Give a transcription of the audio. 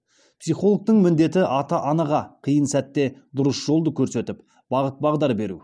психологтың міндеті ата анаға қиын сәтте дұрыс жолды көрсетіп бағыт бағдар беру